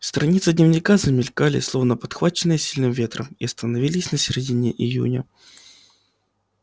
страницы дневника замелькали словно подхваченные сильным ветром и остановились на середине июня